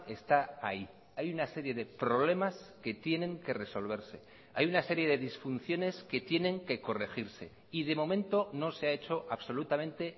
está ahí hay una serie de problemas que tienen que resolverse hay una serie de disfunciones que tienen que corregirse y de momento no se ha hecho absolutamente